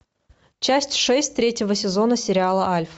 часть шесть третьего сезона сериала альф